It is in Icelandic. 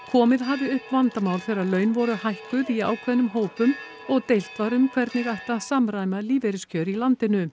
komið hafi upp vandamál þegar laun voru hækkuð í ákveðnum hópum og deilt var um hvernig ætti að samræma lífeyriskjör í landinu